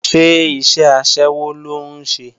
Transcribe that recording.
Ṣé iṣẹ́ aṣẹ́wó ló ń ṣe?